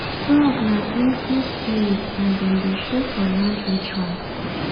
frog nah cleansing spirit and dem dey show for land rituals